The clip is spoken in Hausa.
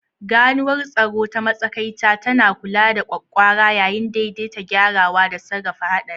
Ganuwar tsaro ta matsakaita tana kula da ƙwaƙƙwara yayin daidaita gyarawa da sarrafa haɗari.